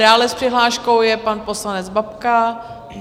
Dále s přihláškou je pan poslanec Babka.